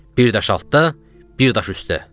Bir daş altdan, bir daş üstə.